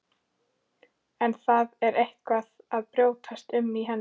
En það er eitthvað að brjótast um í henni.